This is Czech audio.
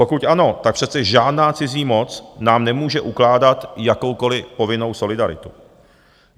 Pokud ano, tak přece žádná cizí moc nám nemůže ukládat jakoukoliv povinnou solidaritu.